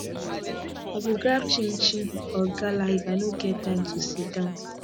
i go grab chinchin or gala if i no get time to sit down